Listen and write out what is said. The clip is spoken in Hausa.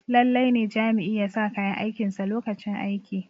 lallai ne Jami'i ya sa kayan aikinsa lokacin aiki